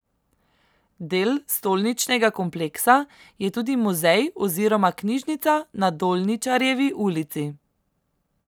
Del stolničnega kompleksa je tudi muzej oziroma knjižnica na Dolničarjevi ulici.